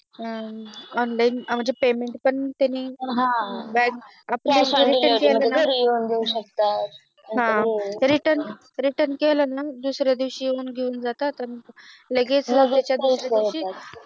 हम्म Online paymnet पण त्यांनी केले Return return केले कि दुसऱ्या दिवशी येऊन घेऊन जातात आणि लगेच